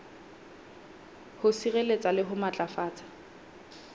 ho sireletsa le ho matlafatsa